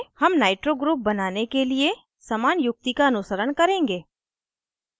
हम nitro group बनाने के लिए समान युक्ति का अनुसरण करेंगे